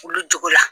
Olu jogo la